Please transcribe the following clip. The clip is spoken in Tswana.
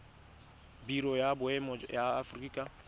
biro ya boemo ya aforika